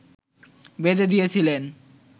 বেঁধে দিয়েছিলেন